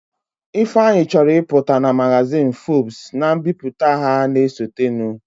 Ifeanyi chọrọ ịpụta na magazin Forbes na mbipụta ha na-esotenụ